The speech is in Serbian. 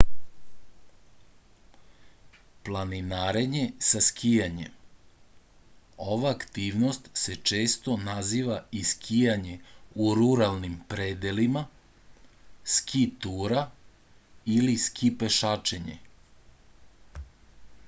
planinarenje sa skijanjem ova aktivnost se često naziva i skijanje u ruralnim predelima ski tura ili ski pešačenje